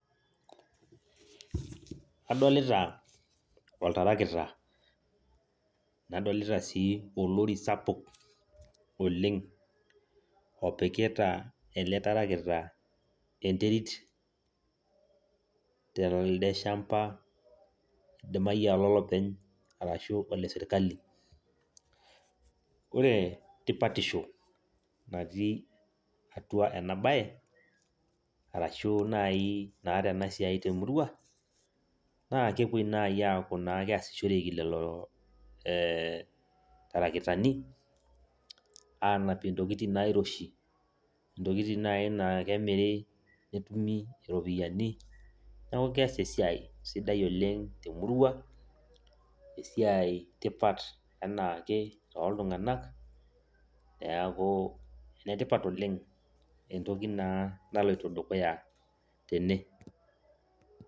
Adolita oltarakita nadolitai sii olori sapuk oleng' opikita ele tarakita enterit telde shamba idimayu aa olo lopeny' arashu ole sirkali ore tipatisho natii atua ena baye arashu naai naa tena siai temurua naa kepuoi naai aaku keesishoreki lelo ee tarakitani aanapie ntokitin nairoshi intokitin naai naa kemiri netumi iropiyiani neeku kees esiai sidai oleng' temurua esiai tipat enake toltung'anak enetipat oleng' entoki naa naloito dukuya tene.